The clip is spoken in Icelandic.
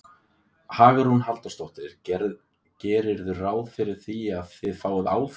Hugrún Halldórsdóttir: Gerirðu ráð fyrir því að, að þið áfrýið?